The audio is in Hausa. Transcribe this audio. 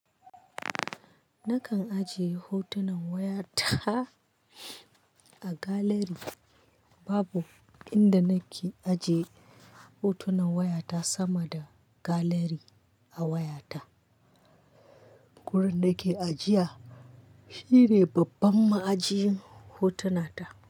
Nakan ajiye hotunan wayata a gallery. Babu inda nake ajiye hotunan wayata sama da gallery a wayata. Wurin da ke ajiya shine babban ma'ajin hotunata.